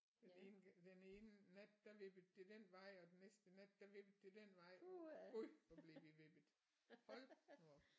Den ene den ene nat der vippede det den vej og den næste nat der vippede det den vej gud hvor blev vi vippet hold nu op